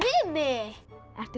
ertu